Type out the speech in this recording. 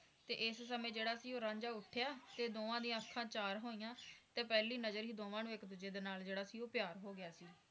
ਤੇ ਸਮੇ ਜਿਹੜਾ ਸੀ ਉਹ ਰਾਂਝਾ ਉੱਠਿਆ ਤੇ ਦੋਵਾਂ ਦੀ ਅੱਖਾਂ ਚਾਰ ਹੋਈਆਂ ਤੇ ਪਹਿਲੀ ਨਜਰ ਹੀ ਜਿਹੜਾ ਸੀ ਉਹ ਇੱਕ ਦੂਜੇ ਨਾਲ ਹੀ ਪਿਆਰ ਹੋ ਗਿਆ ਸੀ